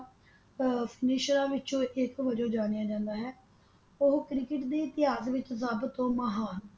ਆਹ ਫਨੀਸ਼ਰਾ ਵਿੱਚੋਂ ਇਕ ਵਜੋਂ ਜਾਣਿਆ ਜਾਂਦਾ ਹੈ ਉਹ ਕ੍ਰਿਕਟ ਦੇ ਇਤਿਹਾਸ ਵਿੱਚ ਸਭ ਤੋਂ ਮਹਾਨ